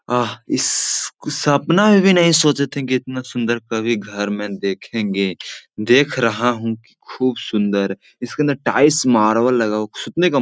आह इस को सपना में भी नहीं सोचे थे कि इतना सुन्दर कभी घर में देखेंगे देख रहा हूँ की खूब सुन्दर इसके अंदर टाइल्स मार्बल लगा हुआ सुतने का --